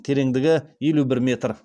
тереңдігі елу бір метр